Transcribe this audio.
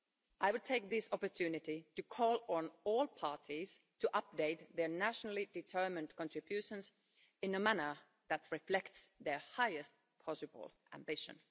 I would take this opportunity to call on all parties to update their nationally-determined contributions in a manner that reflects their highest possible ambition.